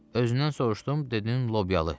Özündən soruşdum, dedin lobyalı.